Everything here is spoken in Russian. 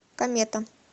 комета